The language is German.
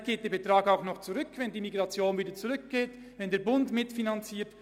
Vielleicht geht dieser Betrag noch zurück, wenn die Migration zurückgeht oder wenn der Bund mitfinanziert.